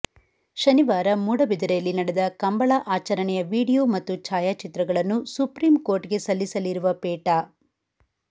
ಶನಿವಾರ ಮೂಡಬಿದರೆಯಲ್ಲಿ ನಡೆದ ಕಂಬಳ ಆಚರಣೆಯ ವಿಡಿಯೋ ಮತ್ತು ಛಾಯಾಚಿತ್ರಗಳನ್ನು ಸುಪ್ರೀಂಕೋರ್ಟ್ಗೆ ಸಲ್ಲಿಸಲಿರುವ ಪೇಟಾ